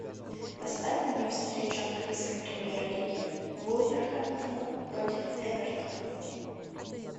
поставь мне встречу английской премьер лиги вулверхэмптона против эвертона